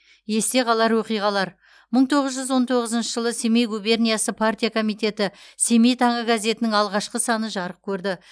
есте қалар оқиғалар мың тоғыз жүз он тоғызыншы жылы семей губерниясы партия комитеті семей таңы газетінің алғашқы саны жарық көрді